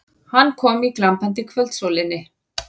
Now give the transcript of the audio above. Hann kom í glampandi kvöldsólinni.